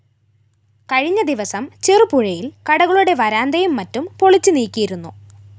കഴിഞ്ഞ ദിവസം ചെറുപുഴയില്‍ കടകളുടെ വരാന്തയും മറ്റും പൊളിച്ചുനീക്കിയിരുന്നു